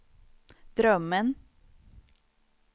drömmen